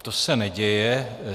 To se neděje.